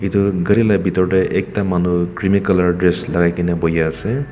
etu gari la bitor de ekta manu creamy color dress lagai gina buhi ase.